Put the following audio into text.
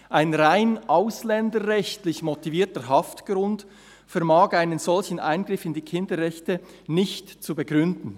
Ein rein ausländerrechtlich motivierter Haftgrund vermag einen solchen Eingriff in die Kinderrechte nicht zu begründen.